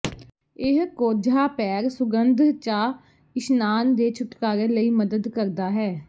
ਇਹ ਕੋਝਾ ਪੈਰ ਸੁਗੰਧ ਚਾਹ ਇਸ਼ਨਾਨ ਦੇ ਛੁਟਕਾਰੇ ਲਈ ਮਦਦ ਕਰਦਾ ਹੈ